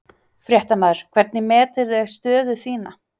Fréttamaður: Hvernig meturðu stöðu þína?